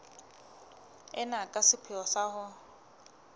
ena ka sepheo sa ho